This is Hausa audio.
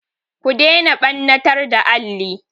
Ku daina ɓannatar da alli!